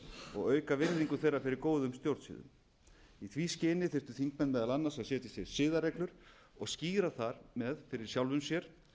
og auka virðingu þeirra fyrir góðum stjórnsiðum í því skyni þyrftu þingmenn meðal annars að setja sér siðareglur og skýra þar með fyrir sjálfum sér